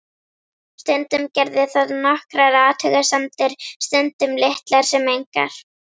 Stundum gerði það nokkrar athugasemdir, stundum litlar sem engar.